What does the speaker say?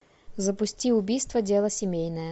запусти убийство дело семейное